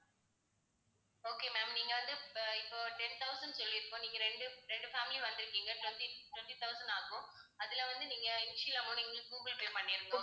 okay ma'am நீங்க வந்து அஹ் இப்போ ten thousand சொல்லி இருப்போம் நீங்க ரெண்டு, ரெண்டு family வந்துருக்கீங்க twenty twenty thousand ஆகும். அதுல வந்து நீங்க amount எங்களுக்கு google pay பண்ணிடுங்க